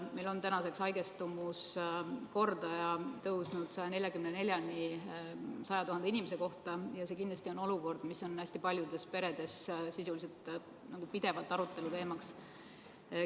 Meil on tänaseks haigestumuskordaja tõusnud 144-ni 100 000 inimese kohta ja see olukord on kindlasti hästi paljudes peredes sisuliselt pidevalt aruteluteema.